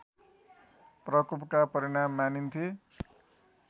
प्रकोपका परिणाम मानिन्थे